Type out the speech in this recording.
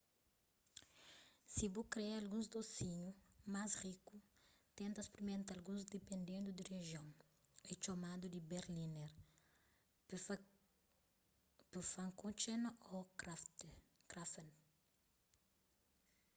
si bu kre alguns dosinhu mas riku tenta sprimenta alguns dipendendu di rijion é txomadu di berliner pfannkuchen ô krapfen